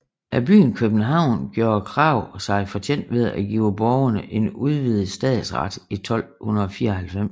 Af byen København gjorde Krag sig fortjent ved at give borgerne en udvidet stadsret 1294